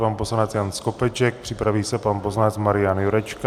Pan poslanec Jan Skopeček, připraví se pan poslanec Marian Jurečka.